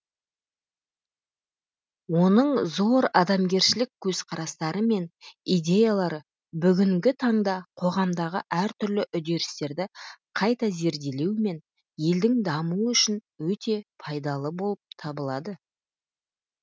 оның зор адамгершілік көзқарастары мен идеялары бүгінгі таңда қоғамдағы әртүрлі үдерістерді қайта зерделеу мен елдің дамуы үшін өте пайдалы болып табылады